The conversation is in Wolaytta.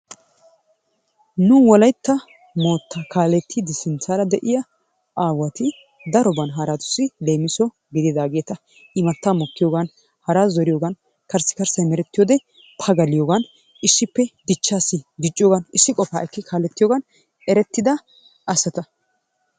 Nu wolaytta mootta kaalettidi sinttaara de'iyaa aawati daroban haratussi leemisso gididaageeta. Imataa mokkiyoogan, haraa zoriyoogan, karssikarssay meretiyoode pagaliyoogan issippe dichchaassi dicciyoogan issi qoga ekki kaaletiyoogan erettida asataa.